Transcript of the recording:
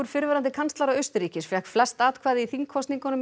fyrrverandi kanslara Austurríkis fékk flest atkvæði í þingkosningum í